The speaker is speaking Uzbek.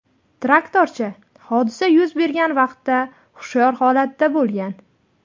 Traktorchi hodisa yuz bergan vaqtda hushyor holatda bo‘lgan.